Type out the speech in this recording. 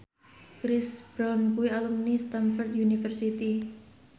Chris Brown kuwi alumni Stamford University